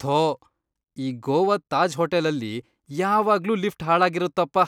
ಥೋ ಈ ಗೋವಾದ್ ತಾಜ್ ಹೋಟೆಲಲ್ಲಿ ಯಾವಾಗ್ಲೂ ಲಿಫ್ಟ್ ಹಾಳಾಗಿರುತ್ತಪ.